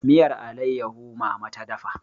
miyar alaiyahu mama ta dafa